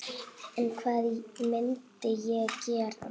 En hvað myndi ég gera?